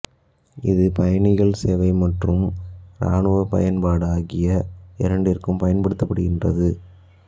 இது பயணிகள் சேவை மற்றும் இராணுவப் பயன்பாடு ஆகிய இரண்டிற்கும் பயன்படுகின்றது